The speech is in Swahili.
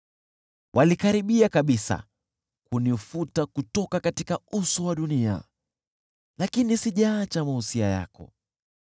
Walikaribia kabisa kunifuta kutoka uso wa dunia, lakini sijaacha mausia yako.